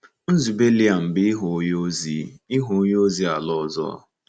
Nzube Liam bụ ịghọ onye ozi ịghọ onye ozi ala ọzọ.